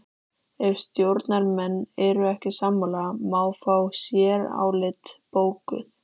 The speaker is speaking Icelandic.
Ef stjórnarmenn eru ekki sammála má fá sérálit bókuð.